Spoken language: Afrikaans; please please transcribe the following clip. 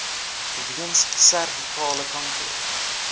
weens servikale kanker